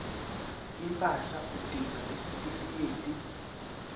impahla udinga isitifikedi